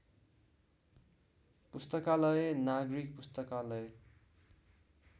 पुस्तकालय नागरिक पुस्तकालय